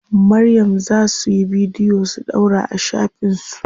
Maryam za suyi bidiyo su ɗaura a shafin su.